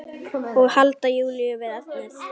Og halda Júlíu við efnið.